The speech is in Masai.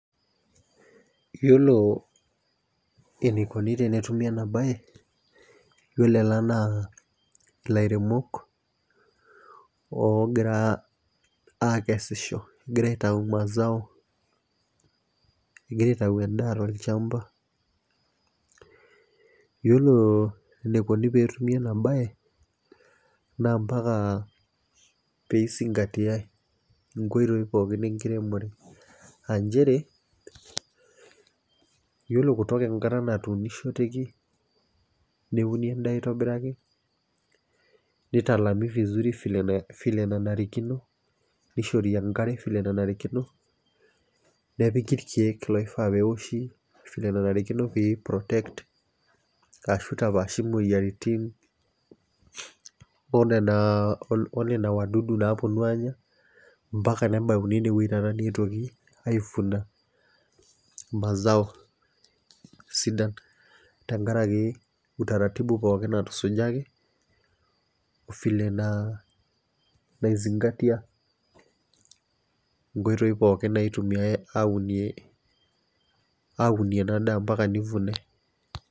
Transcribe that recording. Yiolo enikoni tenetumi ena baye yiolo ela naa ilairemok ogira akesisho egira aitau mazao egira aitau endaa tolchamba yiolo enikoni petumi ena baye naa mpaka peisingatiae inkoitoi pookin enkiremore anchere yiolo kutoka enkata natunishoteki neuni endaa aitobiraki nitalami vizuri vile enae vile enanarikino nishori enkare vile enanarikino nepiki irkeek loifaa pewoshi vile enanarikino pei protect ashu itapaashi imoyiaritin onena onena wadudu naponu anya mpaka nebauni enewueji taata neyetuoki aifuna mazao sidan tenkaraki utaratibu pookin natusujaki ofile naa naizingatia inkoitoi pookin naitumiae aunie, aunie ena daa mpaka nivunae.